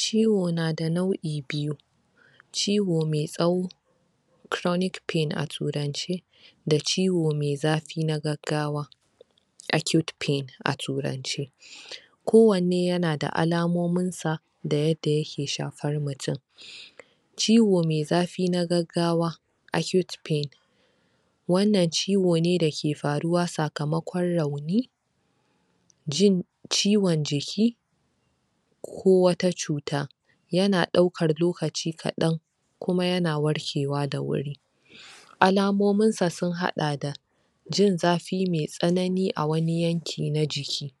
Ciwo na da nau'i biyu ciwo mai tsawo chronic pain a turance da ciwo me zafi na gaggawa acute pain a turance kowanne yana da alamomin sa da yadda yake shafar mutun ciwo me zafi na gaggawa acute pain wannan ciwo ne dake faruwa sakamakon rauni jin ciwon jiki ko wata cuta yana ɗaukar lokaci kaɗan kuma yana warkewa da wuri alamomin sa sun haɗa da jin zafi mai tsanani a wani yanki na jiki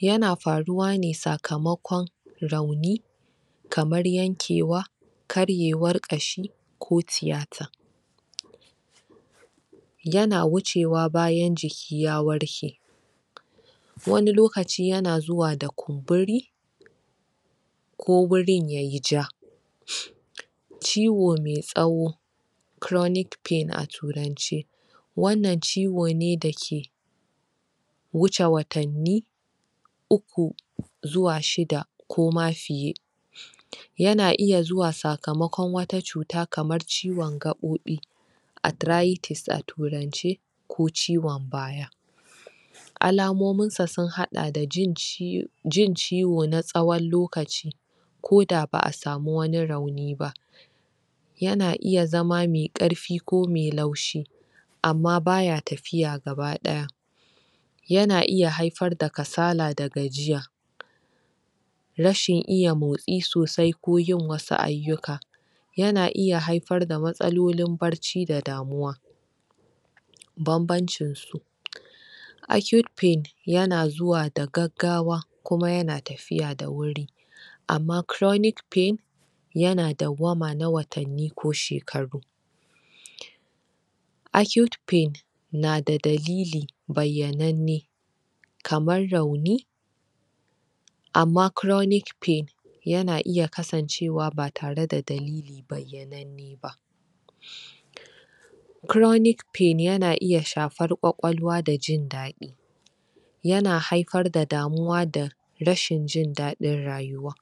yana faruwa ne sakamakon rauni kamar yankewa karyewar ƙashi ko tiyata yana wucewa bayan jiki ya warke wani lokaci yana zuwa da kumburi ko wurin yayi ja ciwo me tsawo chronic pain a turanci wannan ciwo ne da ke wuce watanni uku zuwa shida ko ma fiye yana iya zuwa sakamakon wata cuta kamar ciwon gaɓoɓi arthritis a turance ko ciwon baya alamomin sa sun haɗa da jin ciwo na tsawon lokaci ko da ba'a samu wani rauni ba yana iya zama me ƙarfi ko me laushi amma baya tafiya gabaɗaya yana iya haifar da kasala da gajiya rashin iya motsi sosai ko yin wasu ayyuka yana iya haifar da matsalolin barci da damuwa banbancin su acute pain yana zuwa da gaggawa kuma yana tafiya da wuri amma chronic pain yana dauwama na watanni ko shekaru acute pain na da dalili bayyananne kamar rauni amma chronic pain yana iya kasancewa ba tare da dalili ba chronic pain yana iya shafar kwakwalwa da jin daɗi yana haifar da damuwa da rashin jin daɗin rayuwa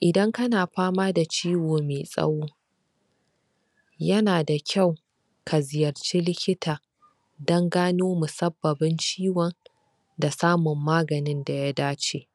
idan kana fama da ciwo me tsawo yana da kyau ka ziyarci likita dan gano musabbabin ciwon da samun maganin da ya dace